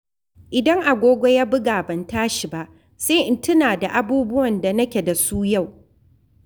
Idan agogo ya buga ban tashi ba, sai in tuna da abubuwan da nake da su yau.